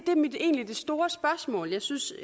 er egentlig det store spørgsmål jeg synes